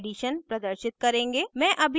मैं अभी code समझाउंगी